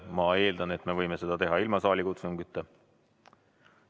Ma eeldan, et me võime seda teha ilma saalikutsungita.